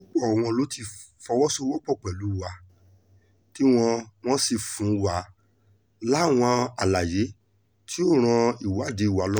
púpọ̀ wọn ló ti fọwọ́sowọ́pọ̀ pẹ̀lú wa tí wọ́n wọ́n sì fún wa láwọn àlàyé tí yóò ran ìwádìí wa lọ́wọ́